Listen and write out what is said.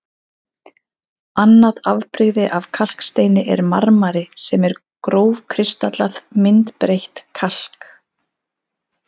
Annað afbrigði af kalksteini er marmari sem er grófkristallað, myndbreytt kalk.